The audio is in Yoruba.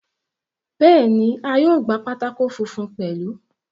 Bẹ́ẹ̀ni, a yóò gba pátákó funfun pẹ̀lú.